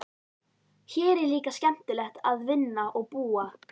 Hér er líka skemmtilegt að vinna og búa.